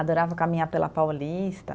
Adorava caminhar pela Paulista.